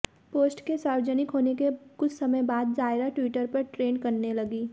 post के सार्वजनिक होने के कुछ समय बाद जायरा ट्विटर पर ट्रेंड करने लगीं